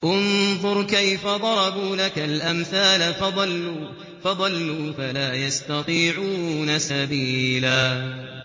انظُرْ كَيْفَ ضَرَبُوا لَكَ الْأَمْثَالَ فَضَلُّوا فَلَا يَسْتَطِيعُونَ سَبِيلًا